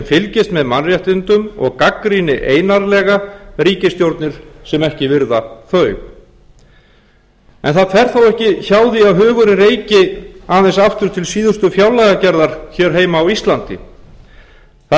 fylgist með mannréttindum og gagnrýni einarðlega ríkisstjórnir sem ekki virða þau en það fer þó ekki hjá því að hugurinn reiki aðeins aftur til síðustu fjárlagagerðar hér heima á íslandi þar